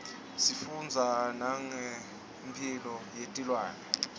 sifundza nangemphilo yetilwane